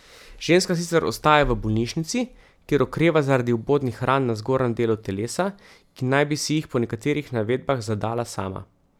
Ženska sicer ostaja v bolnišnici, kjer okreva zaradi vbodnih ran na zgornjem delu telesa, ki naj bi si jih po nekaterih navedbah zadala sama.